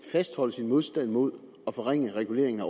fastholde sin modstand mod at forringe reguleringen af